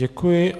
Děkuji.